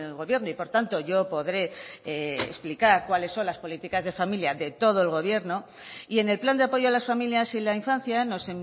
gobierno y por tanto yo podré explicar cuáles son las políticas de familia de todo el gobierno y en el plan de apoyo a las familias y la infancia nos